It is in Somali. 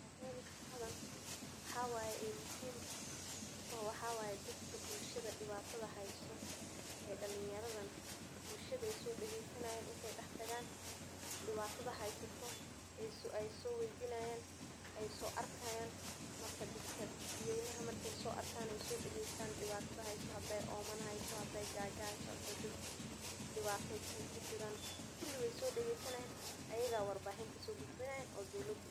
Madama shaqadan muhiim utahay bulshadan oo ey soweydinayan oo soarkayan dad weynaha oo hadey diwato heyso ayey so gudbinayan oo dowlada